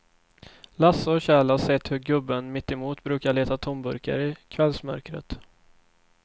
Lasse och Kjell har sett hur gubben mittemot brukar leta tomburkar i kvällsmörkret.